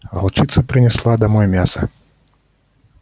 волчица принесла домой мясо